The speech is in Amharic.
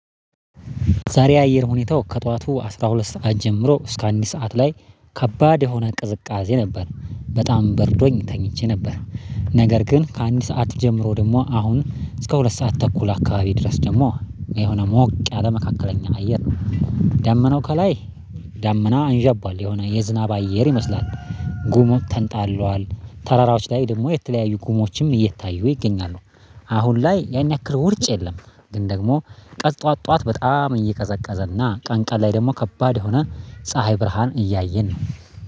ዛሬ አየር ሁኔታው ከጠዋቱ አስራ ሁለት ሰዓት ጀምሮ እስከ አንድ ሰዓት ላይ ከባድ የሆነ ቅዝቃዜ ነበር። በጣም በርዶኝ ተኝቼ ነበር። ነገር ግን ከአንድ ሰዓት ጀምሮ ደግሞ አሁን እስከ ሁለት ሰዓት ተኩል አካባቢ ድረስ ደግሞ የሆነ ሞቅ ያለ መካከለኛ አየር፣ ደመናው ከላይ ደመና አንዣቧል። የሆነ የዝናብ አየር ይመስላል። ጉሙ ተንጣሏል። ተራራዎች ላይ ደግሞ የተለያዩ ጉሞችም እየታዩ ይገኛሉ። አሁን ላይ ያን ያክል ውርጭ የለም። ግን ደግሞ ቀን ጠዋት ጠዋት በጣም እየቀዘቀዘና ቀን ቀን ላይ ደግሞ ከባድ የሆነ ፀሀይ ብርሃን እያየን ነው።